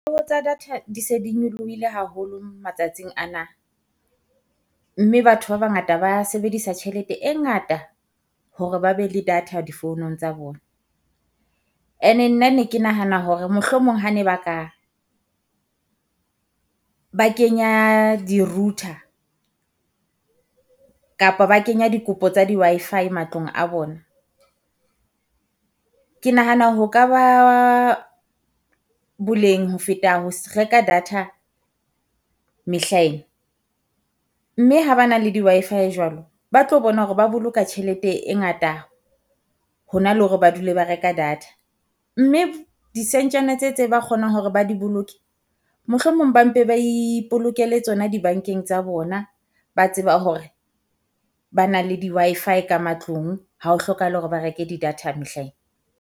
Ho tsa data di se di nyolohile haholo matsatsing ana, mme batho ba bangata ba sebedisa tjhelete e ngata hore ba be le data di founong tsa bona. And-e nna ne ke nahana hore mohlomong ha ne ba ka ba kenya di-router kapa ba kenya dikopo tsa di Wi-Fi matlong a bona. Ke nahana ho ka ba boleng ho feta ho reka data mehla ena. Mme ha ba na le di Wi-Fi jwalo, ba tlo bona hore ba boloka tjhelete e ngata hona le hore ba dule ba reka data, mme disentjana tse tse kgonang hore ba di boloke. Mohlomong ba mpe ba ipolokele tsona dibankeng tsa bona, ba tseba hore ba na le di Wi-Fi ka matlung, hao hlokahale hore ba reke didata mehla ena.